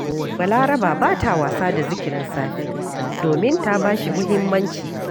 Balaraba ba ta wasa da zikirin safe domin ta ba shi muhimmanci